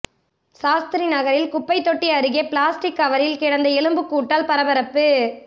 சாஸ்திரி நகரில் குப்பை தொட்டி அருகே பிளாஸ்டிக் கவரில் கிடந்த எலும்புக்கூடால் பரபரப்பு